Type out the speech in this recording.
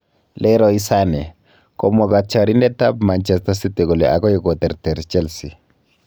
Leroy Sane: Komwa katyarindet ab Manchester City kole akoi koterter Chelsea.